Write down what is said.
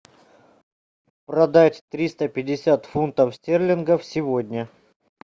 продать триста пятьдесят фунтов стерлингов сегодня